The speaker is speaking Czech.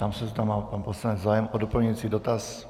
Ptám se, zda má pan poslanec zájem o doplňující dotaz.